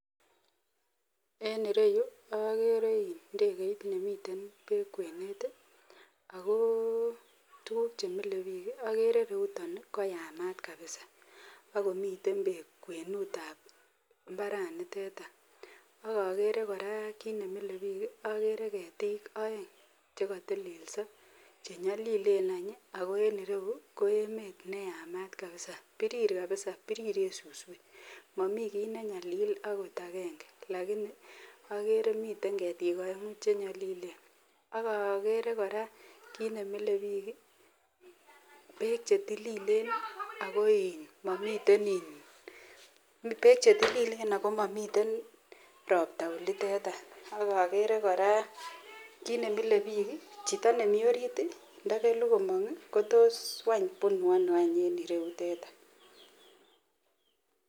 En ireyuu okere jndekeit nemiten beek kwenet ako tukuk chemile bik kii okere ireyuton koyamat kabisa ak komiten beek kwenutab imbaranitet ak okere Koraa kit nemile bik kii okere ketik oeng chekotelelso chenyolilen any ako en ireyuu ko emet neyamat kabisa pirir kabisa piriren suswek momii kit nenyalil okot agenge lakini okere miten ketik oengu chenyolilen ak okere Koraa kit nemile bik kii beek chetililen nii ako in momiten iin beek chetililen ako momiten ropta oliten any, ak okere Koraa kit nemile bik kii chito nemii orit tii ndokelu komong kii wany kotos any bunu ono any en ireyutet any.